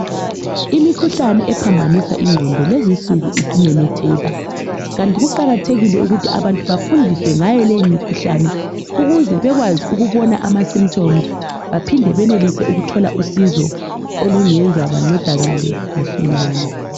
Imikhuhlani ephambanisa ingqondo lezinsuku isimemetheka. Kanti kuqakathekile ukuthi abantu bafundiswe ngayo leyo mikhuhlane ukuze bekwazi ukubona ama simthomzi, baphinde benelise ukuthola usizo olungenza bancedakale masinyane.